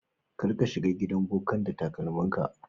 Kar ka shiga gidan bokan da takalmin ka.